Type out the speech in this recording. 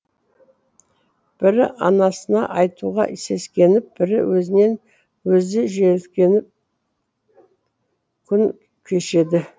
бірі анасына айтуға сескеніп бірі өзінен өзі жеркеніп күн кешеді